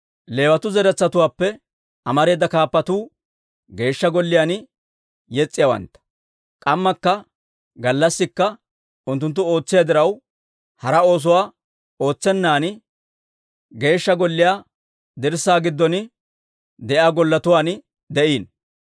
Leewatuu zaratuwaappe amareeda kaappatuu Geeshsha Golliyaan yes's'iyaawantta. K'ammakka gallassikka unttunttu ootsiyaa diraw, hara oosuwaa ootsennan, eeshshaa Golliyaa dirssaa giddon de'iyaa golletuwaan de'iino.